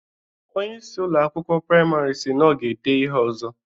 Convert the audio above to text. Onyeisi Ụlọ akwụkwọ praịmarị siri na ọ ga-edee ihe ọzọ